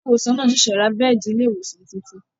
Ilé ìwòsàn náà ṣẹ̀ṣẹ̀ ra bẹ́ẹ̀di ilé ìwòsàn tuntun